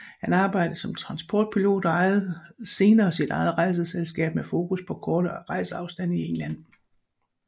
Han arbejdede som transportpilot og ejede senere sit eget rejseselskab med fokus på korte rejseafstande i England